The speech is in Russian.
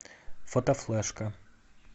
фотофлешка